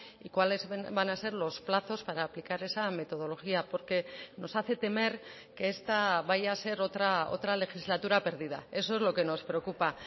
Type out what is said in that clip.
y cuáles van a ser los plazos para aplicar esa metodología porque nos hace temer que esta vaya a ser otra legislatura perdida eso es lo que nos preocupa